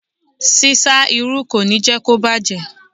Ṣíṣá irú kò ní jẹ́ kó bàjẹ́.